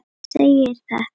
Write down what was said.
segir þetta